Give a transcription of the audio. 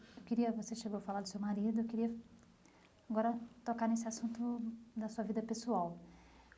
Eu queria você chegou a falar do seu marido, eu queria agora tocar nesse assunto da sua vida pessoal.